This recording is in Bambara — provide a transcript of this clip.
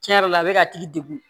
Tiɲɛ yɛrɛ la a bɛ ka tigi degun